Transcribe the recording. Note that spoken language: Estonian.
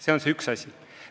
See on üks asi.